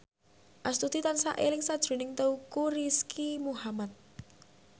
Astuti tansah eling sakjroning Teuku Rizky Muhammad